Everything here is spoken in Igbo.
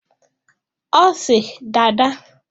Ọ sị Dada!